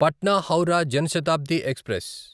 Patna Howrah Jan Shatabdi express